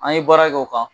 An ye baara kɛ o kan